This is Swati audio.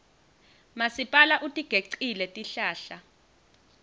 masipala utigecile tihlahla